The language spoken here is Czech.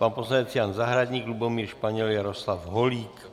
Pan poslanec Jan Zahradník, Lubomír Španěl, Jaroslav Holík.